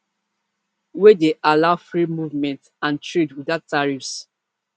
wey dey allow free movement and trade without tariffs